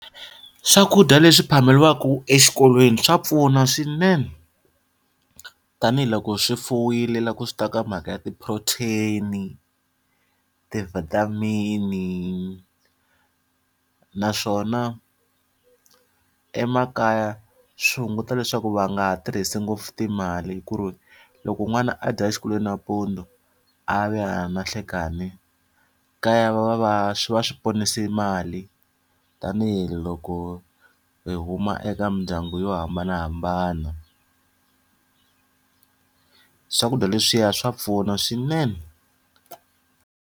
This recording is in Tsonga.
Swakudya leswi phameriwaka eswikolweni swa pfuna swinene. Tanihi loko swi fumile loko swi ta ka mhaka ya ti-protein-i, ti-vitamin-i. Naswona emakaya swi hunguta leswaku va nga ha tirhisi ngopfu timali ku ri, loko n'wana a dya exikolweni nampundzu a ya vuya ni nhlikani, kaya va va va va ponise mali, tanihiloko hi huma eka mindyangu yo hambanahambana. Swakudya leswiya swa pfuna swinene.